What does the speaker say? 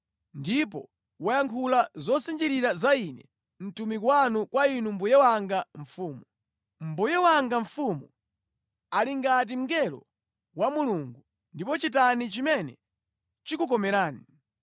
Ndipo wayankhula zosinjirira za ine mtumiki wanu kwa inu mbuye wanga mfumu. Mbuye wanga mfumu ali ngati mngelo wa Mulungu ndipo chitani chimene chikukomerani.